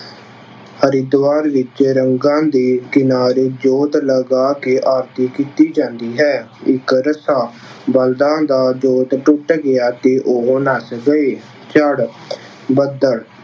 ਹਰਿਦੁਆਰ ਵਿੱਚ ਗੰਗਾ ਦੇ ਕਿਨਾਰੇ ਜੋਤ ਲਗਾ ਕੇ ਆਰਤੀ ਕੀਤੀ ਜਾਂਦੀ ਹੈ। ਇੱਕ ਰੱਸਾ- ਬਲਦਾਂ ਦਾ ਜੋਤ ਟੁੱਟ ਗਿਆ ਅਤੇ ਉਹ ਨੱਸ ਗਏ। ਚੜ੍ਹ- ਬੱਦਲ